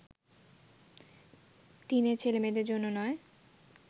teenage ছেলেমেয়েদের জন্য নয়